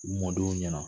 U mɔdenw ɲɛna